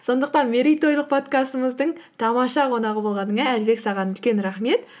сондықтан мерейтойлық подкастымыздың тамаша қонағы болғаныңа әлібек саған үлкен рахмет